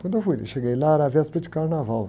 Quando eu fui, cheguei lá, era a véspera de carnaval.